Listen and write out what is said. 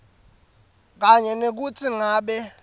kanye nekutsi ngabe